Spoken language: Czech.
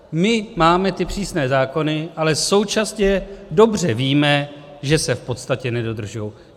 My máme ty přísné zákony, ale současně dobře víme, že se v podstatě nedodržují.